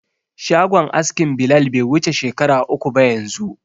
Shagon askin Bilal bai wuce shekara uku ba yanzu.